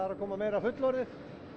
að koma meira fullorðið